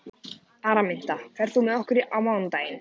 Araminta, ferð þú með okkur á mánudaginn?